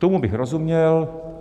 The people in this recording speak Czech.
Tomu bych rozuměl.